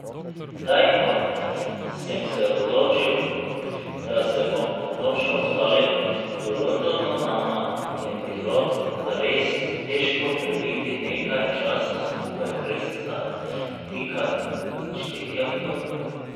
Zdaj, ko sem se odločil, da se bom dokončno ustalil v Londonu, nama je bilo zares težko prebiti nekaj časa skupaj brez zatikanj in štetja minut.